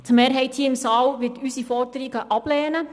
Die Mehrheit hier im Saal wird unsere Forderungen ablehnen.